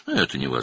Bu vacib deyil.